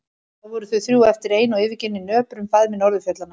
Þá voru þau þrjú eftir ein og yfirgefin í nöprum faðmi norðurfjallanna.